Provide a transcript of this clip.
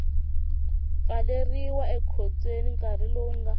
pfaleriwa ekhotsweni nkarhi lowu nga